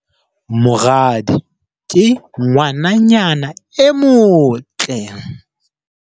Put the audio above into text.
Moradi ke ngwananyana e motle.